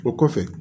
O kɔfɛ